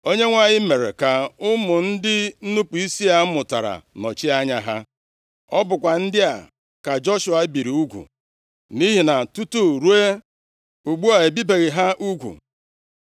Onyenwe anyị mere ka ụmụ ndị nnupu isi a mụtara nọchie anya ha. Ọ bụkwa ndị a ka Joshua biri ugwu, nʼihi na tutu ruo ugbu a, e bibeghị ha ugwu.